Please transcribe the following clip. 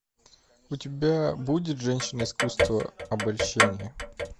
у тебя будет женщины искусство обольщения